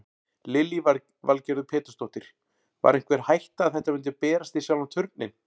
Lillý Valgerður Pétursdóttir: Var einhver hætta að þetta myndi berast í sjálfan Turninn?